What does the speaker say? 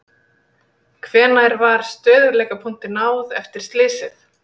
Hvenær var stöðugleikapunkti náð eftir slysið?